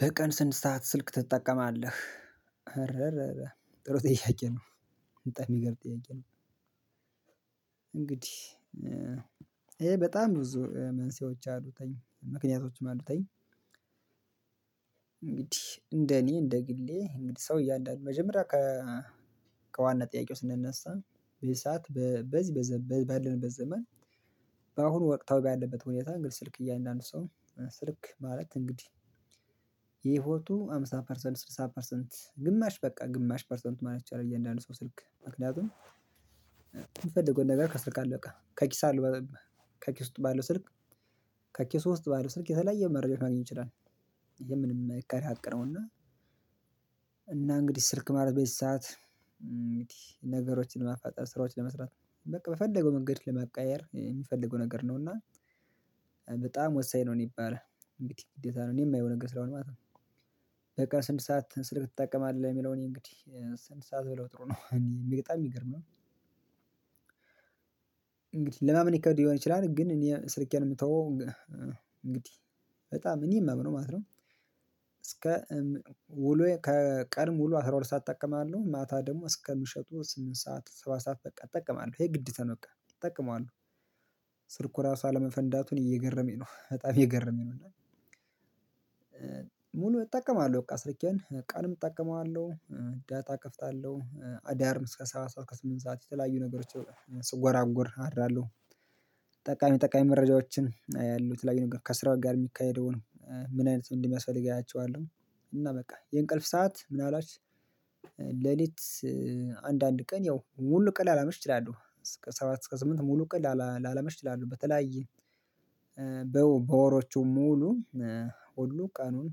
በቀን ስንት ሰዓት ስልክ ትጠቀማለህ? አረረ ጥሩ ጥያቄ ነው። በጣም የሚገር ጥያቄ ነው። እንግዲህ ይሄ በጣም ብዙ መንስኤዎች አሉተኝ ምክንያቶችም አሉተኝ። እንግዲህ እንደኔ እንደግሌ እንግዲህ ሰው እያንዳንዱ መጀመሪያ ከዋና ጥያቄው ስንነሳ ይሄ ሰዓት በዚህ በዘመን ባለንበት ዘመን። በአሁኑ ወቅታዊ በያለበት ሁኔታ እንግዲህ ስልክ እያንዳንዱ ሰው ስልክ ማለት እንግዲህ የሂወቱ አምሳ ፐርሰንት ስድሳ ፐርሰንት ግማሽ በቃ ግማሽ ፐርሰንት ማለት እችላለሁ። እያንዳንዱ ሰው ስልክ ምክንያቱም የምፈልገውን ነገር ከስልክ አለ በቃ ከኪሱ አለው። ከኪስ ውስጥ ባለው ስልክ ከኪስ ውስጥ ባለው ስልክ የተለያየ መረጃዎች ማግኘት ይችላል። በምንም የማይካድ ሀቅ ነውና። እና እንግዲህ ስልክ ማለት በዚ ሰዓት እንግዲ ነገሮችን ለማፋጠን ስራዎችን ለመስራት በቃ በፈለገው መንገድ ለመቀየር የሚፈልገው ነገር ነው። እና በጣም ወሳኝ ነው ነው የሚባለው። እንግዲ ግዴታ ነው እኔ የማየው ነገር ስለሆነ ማለት ነው። በቃ ስንት ሰዓት ስር ትጠቀማለህ? የሚለው እኔ እንግዲህ ስንት ሰዓት ብለው ጥሩ ነው እኔ በጣም የሚገርመ ነው። ለማመን ይከብድ ሊሆን ይችላል ግን እኔ ስልኬን የምተወው እንግዲህ በጣም እኔ ማምነው ማለት ነው። እስከ ውሎዪ ከቀኑ ሙሉ አስራ ሁለት ሰዓት እጠቀማለሁ ማታ ደግሞ እስከ ምሽቱ ስምንት ሰዓት ሰባት ሰዓት በቃ እጠቀማለሁ ይሄ ግዴታ ነው በቃ እጠቀማለሁ። ስልኩ ራሱ አለመፈንዳቱን እየገረመኝ ነው በጣም እየገረመኝ። ሙሉ እጠቀማለሁ በቃ ስርኬን ቀንም እጠቀመዋለሁ። ዳታ እከፍታለሁ አዳርም እስከ ሰባት ሰዓት እስከ ሰምንት ሰዓት የተለያዩ ነገሮችን ስጎራጒር አደራለሁ። ጠቃሚ ጠቃሚ መረጃዎችን ያሉት የተለያዩ ነገር ከስራው ጋር የሚካሄደው ነው ምን አይነት ሰው እንደሚያስፈልግ አያቸዋለሁ። እና በቃ የእንቅልፍ ሰዓት ምንአልባች ሌሊት አንድ አንድ ቀን ያው ሙሉ ቀን ላላመሽ እችላለህ እስከ ሰባት እስከ ስምንት ሙሉ ቀን ላላመሽ እችላለህ። በተለያየ በወሮቹ ሙሉ ሁሉ ቀኑን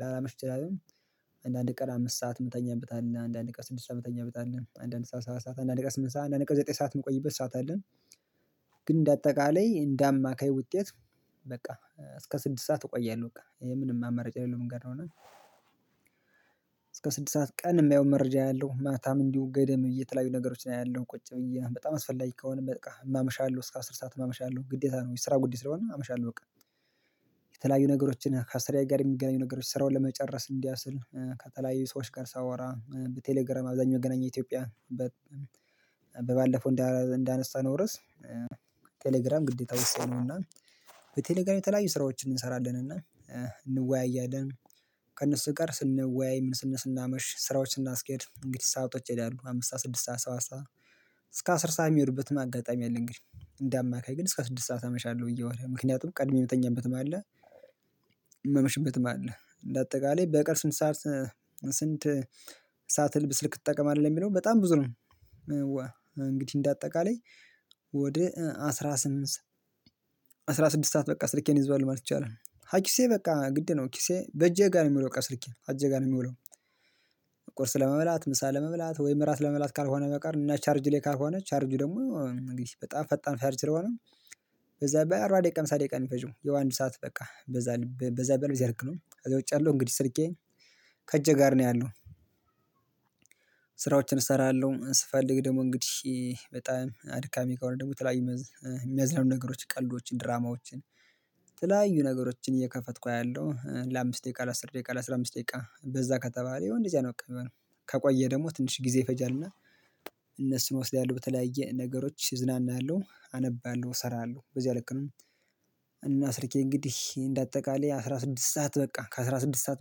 ላላመሽ እችላለህ። አንዳንድ ቀን አምስት ሰዓት ምተኛበት አለ። አንዳንድ ቀን ስድስት ሰዓት ምተኛበት አለ። አንዳንድ ሰዓት ሰዓት አንዳንድ ቀን ስምንት ሰዓት አንዳንድ ቀን ዘጠኝ ሰዓት ምቆይበት ሰዓት አለን ሰዓት አለ። ግን በአጠቃላይ እንደ አማካይ ውጤት በቃ እስከ ስድስት ሰዓት እቆያለሁ። በቃ ይሄ ምንም አማራጭ የሌለው ነገር ነው። እና እስከ ስድስት ሰዓት ቀን የሚያየው መረጃ አያለው ማታም እንዲሁ ገደም ብዪ የተለያዩ ነገሮች አያለው ቁጭ ብዬ በጣም አስፈላጊ ከሆነ በቃ አመሻለሁ እስከ አስር ሰዓት ማመሻለሁ ግዴታ ነው የስራ ጉዳይ ስለሆነ አመሻለሁ በቃ። የተለያዩ ነገሮችን ከስራዬ ጋር የሚገናኙ ነገሮች ስራው ለመጨረስ እንዲያችል ከተለያዩ ሰዎች ጋር ሳወራ በቴሌግራም አብዛኛው መገናኛ ኢትዮጵያ። በባለፈው እንዳነሳነው ርዕስ። ቴሌግራም ግዴታ ወሳኝ ነውና። በቴሌግራም የተለያዩ ስራዎችን እንሰራለንና። እንወያያለን ከእነሱ ጋር ስንወያይ ስናመሽ ስራዎችን እናስኬድ እንግዲህ ሰአቶች ይሄዳሉ። አምስት ስድስት ሰዓት ሰባት ሰዓት እስከ አስር ሰዓት ሚሄድበት አጋጣሚ አለ። እንደ አማካይ ግን እስከ ስድስት ሰዓት አመሻለሁ በየ ወር ምክንያቱም ቀድሜ የምትተኛበት አለ። የማመሽበት አለ እንደ አጠቃላይ በቀን ስንት ሰዓት? ስንት ሰዓት ስልክ ትጠቀማለህ? ለሚለው በጣም ብዙ ነው። እንግዲህ እንደ አጠቃላይ። አስራ ስምንት አስራ ስድስት ሰዓት በቃ ስልኬን እይዘዋለሁ ማለት ይቻላል። ከኪሴ በቃ ግድ ነው ኪሴ በጄ ጋር ነው የሚውለው በቃ ስልኬ አጄ ነው የሚውለው። ቁርስ ለመብላት ምሳ ለመብላት ወይ እራት ለመብላት ካልሆነ በቀርን እና ቻርጅ ላይ ካልሆነ ቻርጅ ደግሞ እንግዲህ በጣም ፈጣን ቻርጅ ስለሆነ። በዛ ቢባል በአርባ ደቂቃ ሃምሳ ደቂቃ ነው የምፈልገው የአንድ ሰዓት በቃ በዛ በዛ በልያደርግነው እንግዲ እጄ ላይ ነው ውጫለሁ እንግዲህ ስርቄ ከእጄ ጋር ነው ያለው። ስራዎችን እሰራለሁ ስፈልግ ደግሞ እንግዲህ በጣም አድካሚ ከሆነ ደግሞ የተለያዩ የሚያዝናኑ ነገሮች ቀልዶችን ድራማዎችን የተለያዩ ነገሮችን እየከፈትኩ አያለው ለአምስት ደቂቃ ለአስር ደቂቃ ለአስራ አምስት ደቂቃ በዛ ከተባለ ያው እንደዛ ነው የሚሆነው። ከቆየ ደግሞ ትንሽ ጊዜ ይፈጃልና። እነሱን እወስዳለሁ በተለያየ ነገሮች እዝናናለሁ አነባለሁ እሰራለሁ በዚህ ልክ። ነው ስርኬ እንግዲህ እንደ አጠቃላይ አስራ ስድስት ሰዓት በቃ ከአስራ ስድስት ሰዓት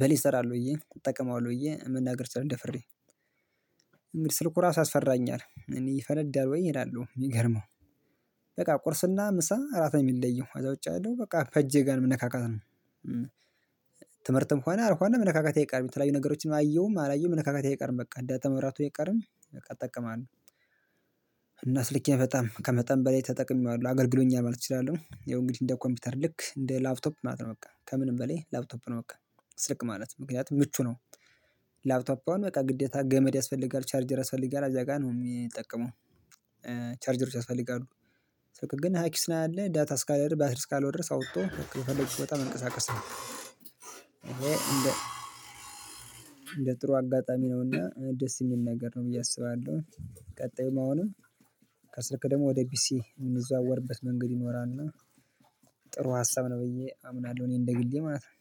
በላይ እሰራለሁ ብዪ እጠቀማለሁ ብዩ መናገር እችላለሁ። ደፍሬ እንግዲህ ስልኩ ራሱ ያፈራኛል እኔ ይፈነዳል ወይ እላለሁ የሚገርመው። በቃ ቁርስና ምሳ እራት የሚለየው ከዛ ውጪ ያለው በቃ ከእጄ ጋር መነካካት ነው። ትምህርትም ሆነው አልሆነ መነካካት አይቀርም የተለያዩ ነገሮችን አየሁም አላየሁም መነካካት አይቀርም በቃ ዳታ መብራቱ አይቀርም። በቃ እጠቀማለሁ። እና ስልኬን በጣም ከመጠን በላይ ተጠቅሜዋለሁ አገርግሎኛል ማለት እችላለሁ። ያው እንግዲህ እንደ ኮምፒውተር ልክ እንደ ላፕቶፕ ማለት ነው። በቃ ከምንም በላይ ላፕቶፕ ነው በቃ። ስልክ ማለት ምክንያቱም ምቹ ነው። ላፕቶፕ አሁን በቃ ግዴታ ገመድ ያስፈልጋል ቻርጅ ያስፈልጋል እዚያ ጋር ነው የሚጠቀመው። ቻርጅሮች ያስፈልጋሉ። ስልክ ግን ከኪስ ነው ያለው ዳታ ስካለ ድረስ ባትሪ እስካለው ድረስ አውጥቶ በፈለግኩት ቦታ መንቀሳቀስ ነው። እንደ እንደ ጥሩ አጋጣሚ ነውና ደስ የሚል ነገር ነው ብዬ አስባለሁ። ቀጣዩም አሁንም ከስልክ ደግሞ ወደ ፒሲ የምንዘዋወርበት መንገድ ይኖራል እና። ጥሩ ሀሳብ ነው ብዬ አምናለሁ እኔ እንደ ግሌ ማለት ነው።